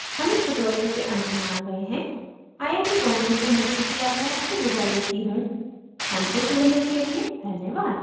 हम इस tutorial के अंत में आ गए हैं आई आई we बॉम्बे से मैं श्रुति आर्य आपसे विदा लेती हूँ हमसे जुड़ने के लिए धन्यवाद